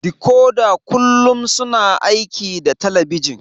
Dikoda kullum suna aiki da talabijin